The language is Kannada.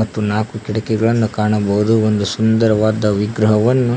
ಮತ್ತು ನಾಲ್ಕು ಕಿಟಕಿಗಳನ್ನು ಕಾಣಬಹುದು ಒಂದು ಸುಂದರವಾದ ವಿಗ್ರಹವನ್ನು